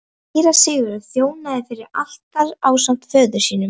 Síra Sigurður þjónaði fyrir altari ásamt föður sínum.